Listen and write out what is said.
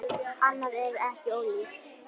Annað er ekki ólíkt.